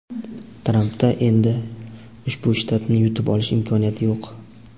Trampda endi ushbu shtatni yutib olish imkoniyati yo‘q.